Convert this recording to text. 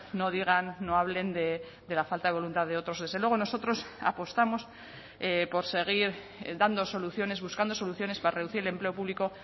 no digan no hablen de la falta de voluntad de otros desde luego nosotros apostamos por seguir dando soluciones buscando soluciones para reducir el empleo público